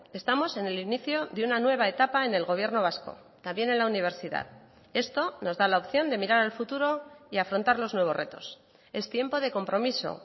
estamos en el inicio de una nueva etapa en el gobierno vasco también en la universidad esto nos da la opción de mirar al futuro y afrontar los nuevos retos es tiempo de compromiso